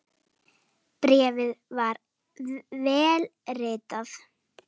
Bréfið var vel ritað.